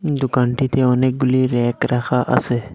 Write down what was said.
দুকানটিতে অনেকগুলি ব়্যাক রাখা আসে।